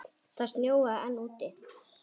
Það snjóaði enn úti.